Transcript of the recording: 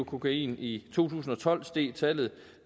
kokain i to tusind og tolv steg tallet